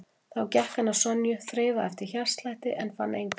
Þá gekk hann að Sonju, þreifaði eftir hjartslætti en fann engan.